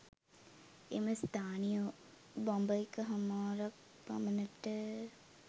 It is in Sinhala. එම ස්ථානය බඹ එක හමාරක් පමණට